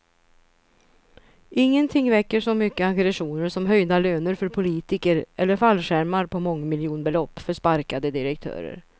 Ingenting väcker så mycket aggressioner som höjda löner för politiker eller fallskärmar på mångmiljonbelopp för sparkade direktörer.